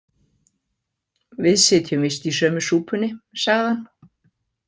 Við sitjum víst í sömu súpunni, sagði hann.